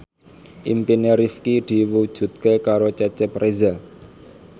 impine Rifqi diwujudke karo Cecep Reza